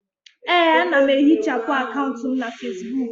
Ee, ana m ehichapụ akaụntụ m na Fesbuk.